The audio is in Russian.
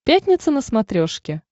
пятница на смотрешке